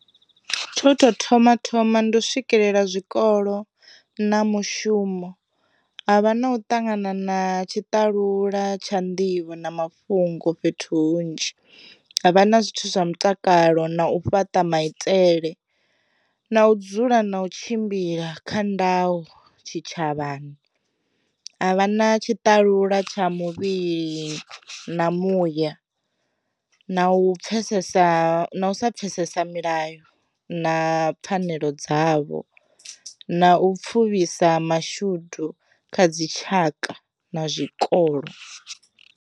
Tsha u tou thoma thoma ndi u swikelela zwikolo na mushumo, havha na u ṱangana na tshitalula tsha nḓivho na mafhungo fhethu hunzhi havha na zwithu zwa mutakalo na u fhaṱa maitele, na u dzula na u tshimbila kha ndayo tshi tshavhani. A vha na tshitalula tsha muvhili, na muya, na u pfhesesa sa pfesesa milayo na pfanelo dzavho, na u pfuvhisa mashudu kha dzitshaka na zwikolo.